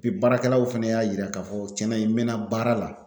Bi baarakɛlaw fɛnɛ y'a yira k'a fɔ cɛn na in mɛna baara la